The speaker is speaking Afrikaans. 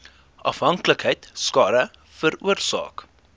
afhanklikheid skade veroorsaak